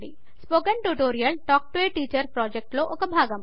spoken tutorial talk to a teacher project లో భాగము